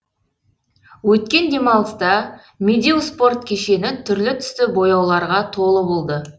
өткен демалыста медеу спорт кешені түрлі түсті бояуларға толы болды